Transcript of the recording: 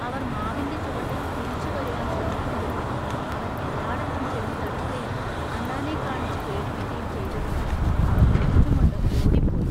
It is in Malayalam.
അവർ മാവിന്റെ ചുവട്ടിൽ തിരിച്ചു വരുവാൻ ശ്രമിക്കുംതോറും അവൻ എല്ലാടത്തും ചെന്നുതടുക്കയും അണ്ണാനെ കാണിച്ചുപേടിപ്പിക്കയും ചെയ്തതിനാൽ അവർ ചിരിച്ചുംകൊണ്ടു ഓടിപ്പോയി.